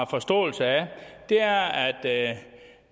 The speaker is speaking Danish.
forståelse af det er at